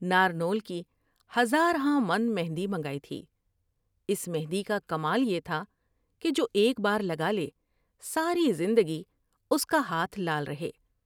نارنول کی ہزار ہامن مہندی منگائی تھی ۔اس مہندی کا کمال یہ تھا کہ جو ایک بارلگالے ساری زندگی اس کا ہاتھ لال رہے ۔